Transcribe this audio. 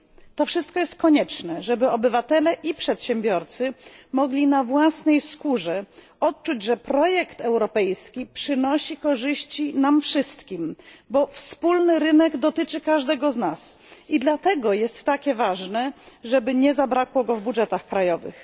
To wszystko jest konieczne, żeby obywatele i przedsiębiorcy mogli na własnej skórze odczuć, że projekt europejski przynosi korzyści nam wszystkim, bo wspólny rynek dotyczy każdego z nas. I dlatego jest takie ważne, żeby nie zabrakło go w budżetach krajowych.